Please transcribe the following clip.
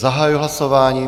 Zahajuji hlasování.